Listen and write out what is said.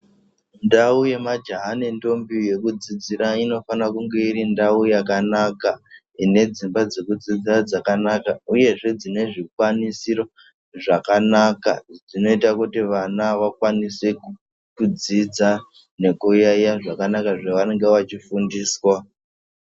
Ndau yemajaha nendombi yekudzidzira inofana kunge iri ndau yakanaka ine dzimba dzekudzidza dzakanaka uyezve dzine zvikwanisiro zvakanaka zvinoita kuti vana vakwanise kudzidza nekuyaiya zvakanaka zvavanenge vachifundiswa.